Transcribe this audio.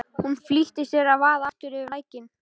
Hún flýtti sér að vaða aftur yfir lækinn.